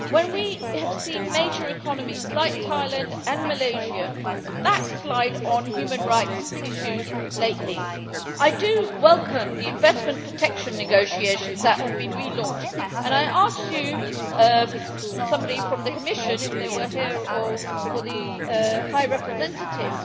We have seen major economies like Thailand and Malaysia backslide on human rights issues lately, so I welcome the investment protection negotiations that have been re launched, and I would like to ask a representative of the Commission, if they were here, or the High Representative,